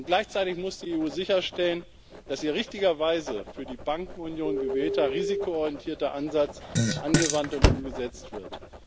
Gleichzeitig muss die EU sicherstellen, dass ihr richtigerweise für die Bankenunion gewählter risikoorientierter Ansatz angewandt und umgesetzt wird.